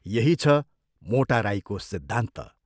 यही छ मोटा राईको सिद्धान्त।।